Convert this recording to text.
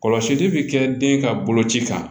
Kɔlɔsili bɛ kɛ den ka boloci kan